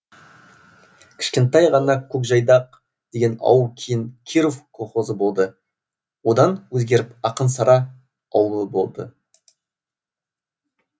кішкентай ғана көкжайдақ деген ауыл кейін киров колхозы болды одан өзгеріп ақын сара ауылы болды